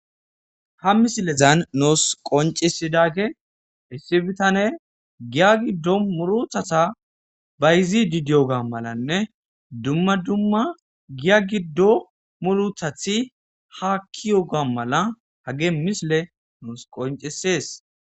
ha misilezan nuus qoncisidage issi bitane giya giddo muruthata bayizi didiyo ga malanne dumma dumma giya giddo muruthathi ha kiyo ga mala hage misile noos qoncisees